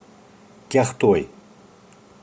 кяхтой